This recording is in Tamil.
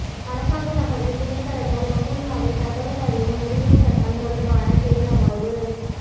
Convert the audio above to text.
அரசாங்க தகவல் திணைக்களத்தால் வவுனியாவில் தகவல் அறியும் உரிமைச் சட்டம் தொடர்பான செயலமர்வு